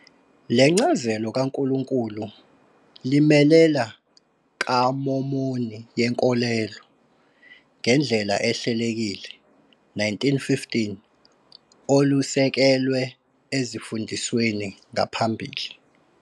Le ncazelo kaNkulunkulu limelela kaMomoni yenkolelo, ngendlela ehlelekileko 1915 olusekelwe ezimfundisweni ngaphambili.